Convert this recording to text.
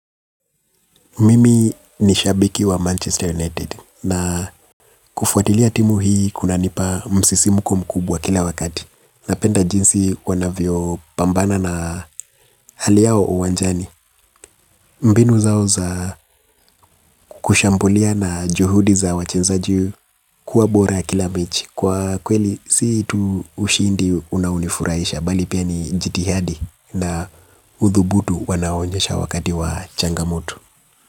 Mimi ni shabiki wa Manchester United na kufuatilia timu hii kunanipa msisimko mkubwa kila wakati. Napenda jinsi wanavyo pambana na hali yao uwanjani. Mbinu zao za kushambulia na juhudi za wachenzaji kuwa bora kila mechi. Kwa kweli si tu ushindi unauonifurahisha bali pia ni jitihadi na udhubutu wanaoonyesha wakati wa changamoto.